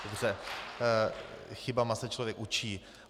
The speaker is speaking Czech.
Dobře, chybama se člověk učí.